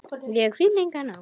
Ég finn enga nánd.